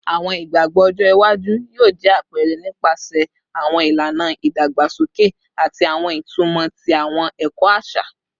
Awọn igbagbọ ọjọ iwaju yoo jẹ apẹrẹ nipasẹ awọn ilana idagbasoke ati awọn itumọ ti awọn ẹkọ aṣa